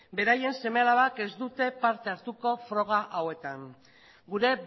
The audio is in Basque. beraien seme alabak ez dute parte hartuko froga hauetan gure